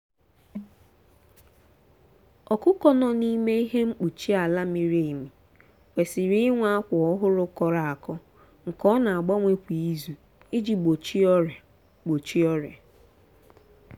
ọkụkọ nọ n’ime ihe mkpuchi ala miri emi kwesiri inwe akwa ọhụrụ kọrọ akọ nke a na-agbanwe kwa izu iji gbochie ọrịa. gbochie ọrịa.